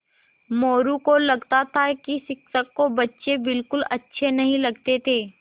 मोरू को लगता था कि शिक्षक को बच्चे बिलकुल अच्छे नहीं लगते थे